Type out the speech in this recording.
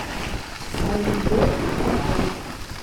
азизбек сафонов